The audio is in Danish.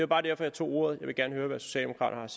bare derfor jeg tog ordet jeg vil gerne høre hvad socialdemokraterne